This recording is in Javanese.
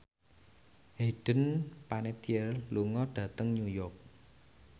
Hayden Panettiere lunga dhateng New York